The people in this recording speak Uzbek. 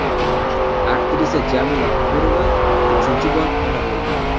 Aktrisa Jamila G‘ofurova uchinchi bor ona bo‘ldi.